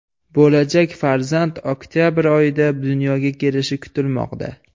Bo‘lajak farzand oktabr oyida dunyoga kelishi kutilmoqda.